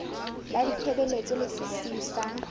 la ditshebeletso le sesiu sa